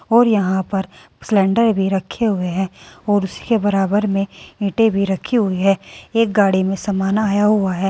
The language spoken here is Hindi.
और यहां पर सिलेंडर भी रखे हुए है और उसके बराबर में ईंटे भी रखी हुई है एक गाड़ी में सामान आया हुआ है।